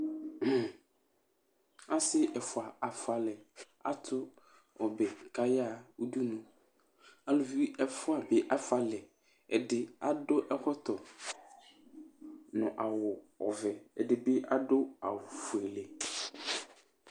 Asi ɛfʋa afʋalɛ Atu ɔbɛ kʋ ayaha ʋɖʋnu Alʋvi ɛfʋa bi afʋalɛ Ɛdí aɖu ɛkɔtɔ ŋu awu ɔvɛ Ɛɖìbi aɖu awu ɔfʋele